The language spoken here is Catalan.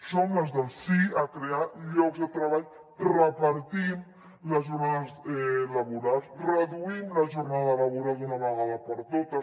som les del sí a crear llocs de treball repartim les jornades laborals reduïm la jornada laboral d’una vegada per totes